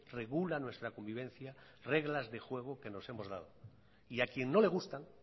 regula nuestra convivencia reglas de juegos que nos hemos dado y a quien no le gustan